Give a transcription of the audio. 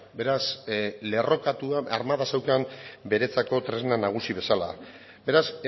beraz lerrokatua armada zeukan beretzako tresna nagusi bezala beraz